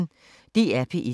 DR P1